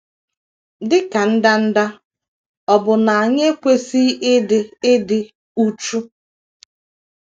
Dị ka ndanda, ọ̀ bụ na anyị ekwesịghị ịdị ịdị uchu?